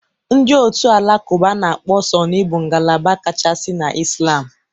Ndị otu Alakụba a na-akpọ Sunni bụ ngalaba kachasị na Islam., ma e wep